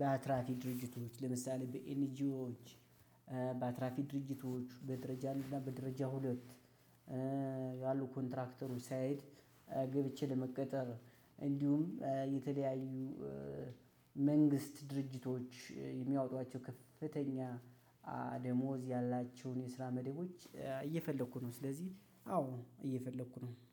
በአትራፊ ድርጅቶች ለምሳሌ በኤንጂኦች በአትራፊ ድርጅቶች በደረጃ አንድ እና በደረጃ ሁለት። ያሉ ኮንትራክተሮች ሳይሄድ ገብቼ ለመቀጠር እንዲሁም የተለያዩ መንግስት ድርጅቶች የሚያወጧቸው ከፍተኛ ደሞዝ ያላቸውን የስራ መደቦች እየፈለኩ ነው። ስለዚህ አዎ እየፈለኩ ነው